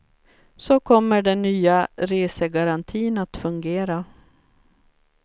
Så kommer den nya resegarantin att fungera.